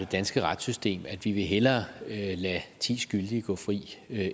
danske retssystem at vi hellere vil lade ti skyldige gå fri